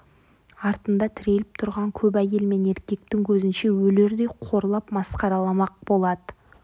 артында тіреліп тұрған көп әйел мен еркектің көзінше өлердей қорлап масқараламақ болады